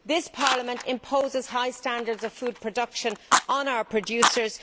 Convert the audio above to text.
This Parliament imposes high standards of food production on our producers.